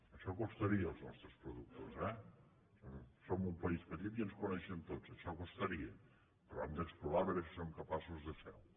això costaria als nostres productors eh som un país petit i ens coneixem tots això costaria però hem d’explorar a veure si som capaços de fer ho